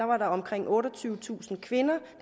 var det omkring otteogtyvetusind kvinder